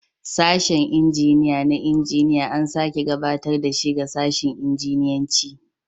Sashen injiniya na injiniya an sake gabatar da shi ga sashin injiniyanci